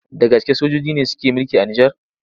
Da gaske sojoji ne suke mulki a Nijar?